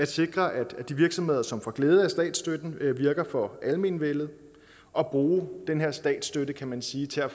sikre at de virksomheder som får glæde af statsstøtten virker for almenvellet og bruge den her statsstøtte kan man sige til at